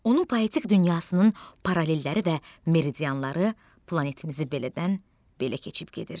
Onun poetik dünyasının paralelləri və meridianları planetimizi bələdən-bələ keçib gedir.